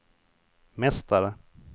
mästare